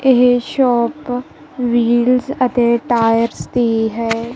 ਇਹ shop wheels ਅਤੇ tyre ਦੀ ਹੈ।